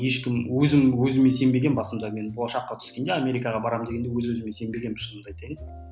ешкім өзім өзіме сенбегенмін басында мен болашаққа түскенде америкаға барамын дегенде өз өзіме сенбегенмін шынымды айтайын